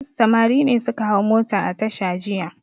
Samari ne suka hau mota a tasha jiya.